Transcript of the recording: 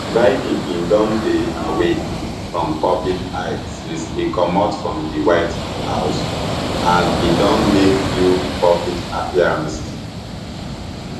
biden bin don dey away from public eye since e comot from di white house and e don make few public appearances